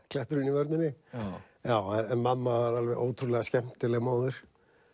kletturinn í vörninni en mamma var alveg ótrúlega skemmtileg móðir